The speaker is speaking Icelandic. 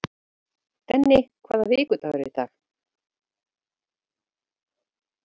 Denni, hvaða vikudagur er í dag?